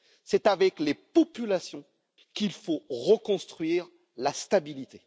C'est avec les populations qu'il faut reconstruire la stabilité.